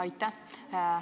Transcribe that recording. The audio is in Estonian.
Aitäh!